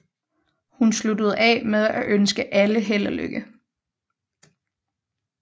Hun sluttede af med at ønske alle held og lykke